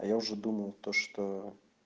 а я уже думал то что